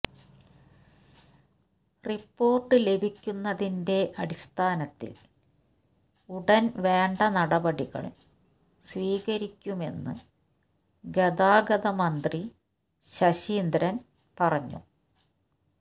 report ലഭിക്കുന്നതിന്റെ അടിസ്ഥാനത്തിൽ ഉടൻ വേണ്ട നടപടികൾ സ്വീകരിക്കുമെന്ന് ഗതാഗതമന്ത്രി ശശീന്ദ്രൻ പറഞ്ഞു